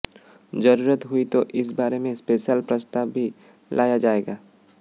जरूरत हुई तो इस बारे में स्पेशल प्रस्ताव भी लाया जाएगा